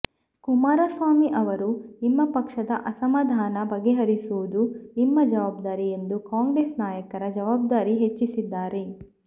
ಕುಮಾರಸ್ವಾಮಿ ಅವರು ನಿಮ್ಮ ಪಕ್ಷದ ಅಸಮಾಧಾನ ಬಗೆಹರಿಸುವುದು ನಿಮ್ಮ ಜವಾಬ್ದಾರಿ ಎಂದು ಕಾಂಗ್ರೆಸ್ ನಾಯಕರ ಜವಾಬ್ದಾರಿ ಹೆಚ್ಚಿಸಿದ್ದಾರೆ